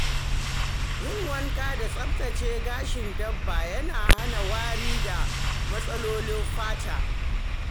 Yin wanka da tsaftace gashin dabba yana hana wari da matsalolin fata.